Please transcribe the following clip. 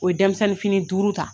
O ye denmisɛnnin fini duuru ta.